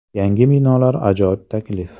Yangi binolar ajoyib taklif!.